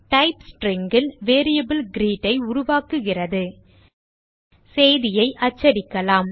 type String ல் variable greet ஐ உருவாக்குகிறது செய்தியை அச்சடிக்கலாம்